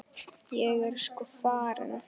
Ég er sko farin.